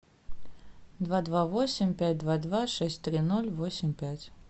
два два восемь пять два два шесть три ноль восемь пять